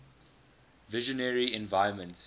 visionary environments